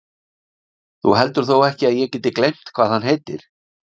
Þú heldur þó ekki að ég geti gleymt hvað hann heitir?